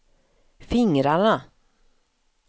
fingrarna